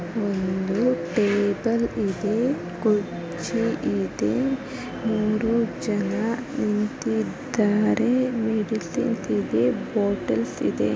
ಮೂರು ಜನ ನಿಂತಿದ್ದಾರೆ